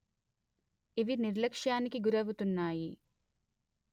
ఇవి నిర్లక్ష్యానికి గురవుతున్నాయి